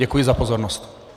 Děkuji za pozornost.